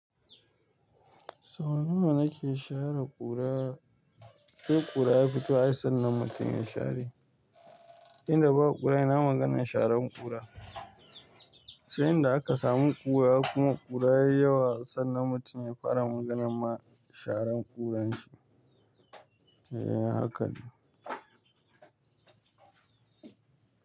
Sau nawa na ke share ƙura? Sai ƙura ya fito ai sannan mutum ya share. Inda ba ƙura ina maganan sharan ƙura. Sai inda aka samu ƙura kuma ƙura yayi yawa sannan mutum ya fara maganan sharan ƙuran shi. Eh haka ne.